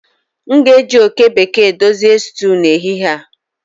M ga-eji oke bekee dozie stew n'ehihie a